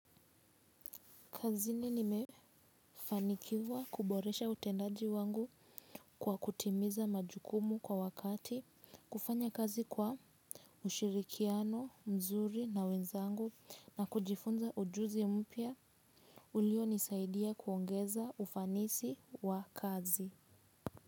Kazini nimefanikiwa kuboresha utendaji wangu kwa kutimiza majukumu kwa wakati, kufanya kazi kwa ushirikiano mzuri na wenzangu na kujifunza ujuzi mpya ulio nisaidia kuongeza ufanisi wa kazi.